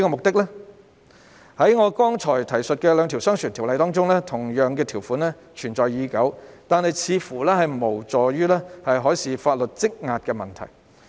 在我剛才提述的兩項商船條例中，同樣的條款存在已久，但似乎無助於解決修訂海事相關法例工作積壓的問題。